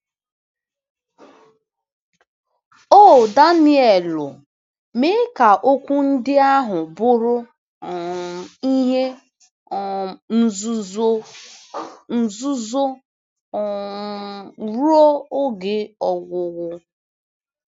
“O Danielu, mee ka okwu ndị ahụ bụrụ um ihe um nzuzo. nzuzo. um.. ruo oge ọgwụgwụ.